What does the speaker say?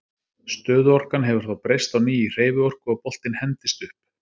Stöðuorkan hefur þá breyst á ný í hreyfiorku og boltinn hendist upp.